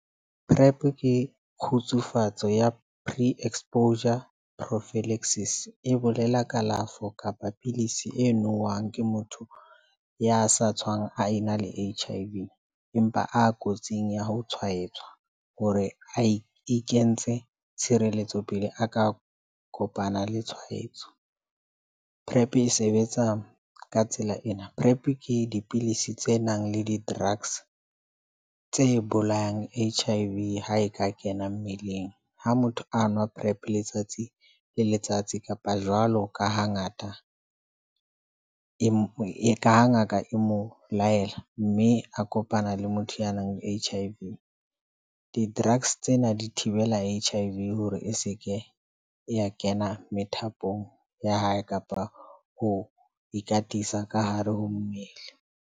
PreP ke kgutsufatso ya Pre-Exposure Prophylaxis e bolela kalafo kapa pidisi e nowang ke motho ya sa tshwang a ena le H_I_V. Empa a kotsing ya ho tshwaetswa ho re e kentse tshireletso pele a ka kopana le tshwaetso. PreP e sebetsa ka tsela ena. PreP ke dipilisi tse nang le di-drugs tse bolayang H_I_V ha e ka kena mmeleng. Ha motho a nwa PreP letsatsi le letsatsi kapa jwalo ka ha ngata e ka ngaka e mo laela. Mme a kopana le motho ya nang le H_I_V di-drugs tsena di thibela H_I_V hore e seke ya kena methapong ya hae kapa ho ikatisa ka hare ho mmele.